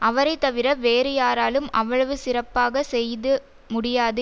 அவரைத்தவிர வேறு யாராலும் அவ்வளவு சிறப்பாக செய்யது முடியாது